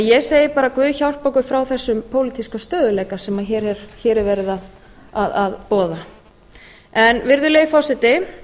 ég segi bara guð hjálpi okkur frá þessum pólitíska stöðugleika sem hér er verið að boða virðulegi forseti